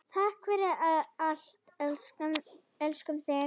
Takk fyrir allt, elskum þig.